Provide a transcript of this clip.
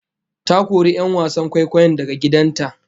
Ta kori 'yan wasan kwaikwayon daga gidan ta